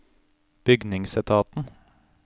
bygningsetaten